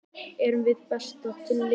Erum við besta lið sögunnar?